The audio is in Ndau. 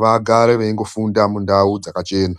vagare veyingofunda mundau dzakachena.